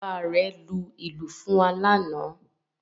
Bàbá rẹ̀ lu ìlù fún wa lánàá